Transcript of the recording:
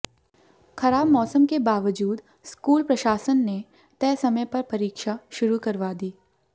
खराब मौसम के बावजूद स्कूल प्रशासन ने तय समय पर परीक्षा शुरू करवा दी